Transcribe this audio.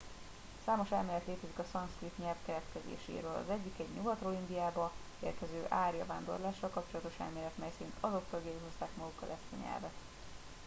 számos elmélet létezik a szanszkrit nyelv keletkezéséről az egyik egy nyugatról indiába érkező árja vándorlással kapcsolatos elmélet mely szerint azok tagjai hozták magukkal ezt a nyelvet